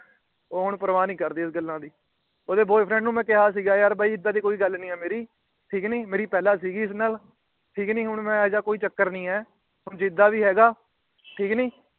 ਉਹ ਹੁਣ ਪ੍ਰਵਾਹ ਨਹੀਂ ਕਰਦੀ ਉਸ ਗੱਲਾਂ ਦੀ। ਉਹਦੇ BoyFriend ਨੂੰ ਮੈ ਕਿਹਾ ਸੀ ਯਾਰ ਬਾਈ ਏਦਾਂ ਦੀ ਕੋਈ ਗੱਲ ਨਹੀਂ ਏ ਮੇਰੀ ਠੀਕ ਕੀ ਨਹੀਂ। ਮੇਰੀ ਪਹਿਲਾ ਸੀ ਗੀ ਇਸ ਨਾਲ ਠੀਕ ਕੀ ਨਹੀਂ ਹੁਣ ਇਹੋ ਜਿਹਾ ਕੋਈ ਚੱਕਰ ਨਹੀਂ ਏ। ਜਿਦਾ ਵੀ ਹੇਗਾ ਠੀਕ ਨਹੀਂ